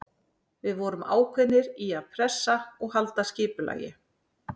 Við vorum ákveðnir í að pressa og halda skipulagi.